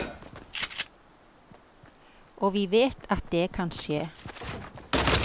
Og vi vet at det kan skje.